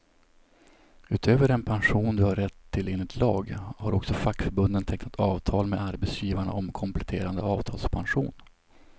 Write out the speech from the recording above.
Utöver den pension du har rätt till enligt lag, har också fackförbunden tecknat avtal med arbetsgivarna om kompletterande avtalspension.